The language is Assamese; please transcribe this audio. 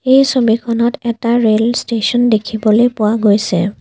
এই ছবিখনত এটা ৰেল ষ্টেচন দেখিবলে পোৱা গৈছে।